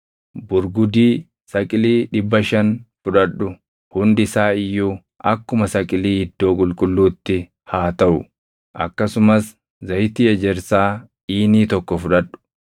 burgudii saqilii 500 fudhadhu; hundi isaa iyyuu akkuma saqilii iddoo qulqulluutti haa taʼu; akkasumas zayitii ejersaa iinii tokko fudhadhu.